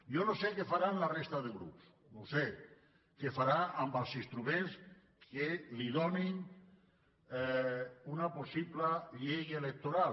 jo no sé què faran la resta de grups no ho sé què farà amb els instruments que li doni una possible llei electoral